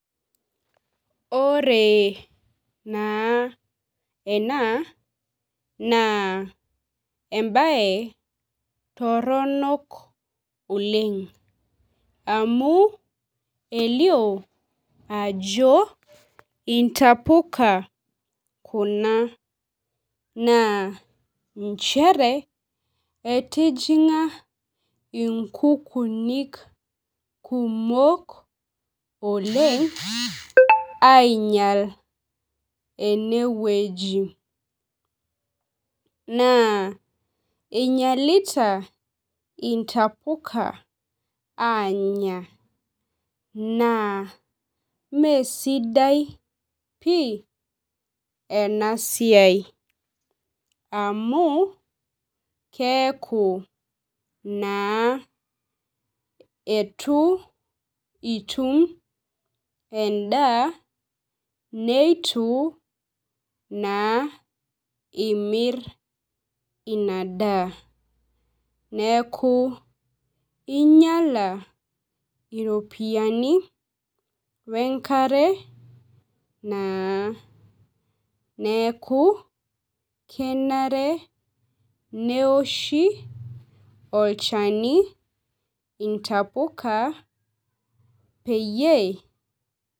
Ore na ena naa ebae toronok oleng'. Amu elio ajo intapuka kuna. Naa nchere etijing'a inkukunik kumok oleng' aimyal eneweni. Naa einyalita imtapuka anya. Naa mesidai pii ena siai amuu keeku naa eitu itum edaaa naa neitu naa imir inaa daa neeku inyala iropiani wee nkare naa . Neeku kenare neoshi olchani intapuka peyie.